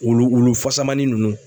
Wulu wulu fasamanni nunnu